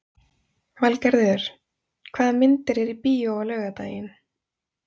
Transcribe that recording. Valgarður, hvaða myndir eru í bíó á laugardaginn?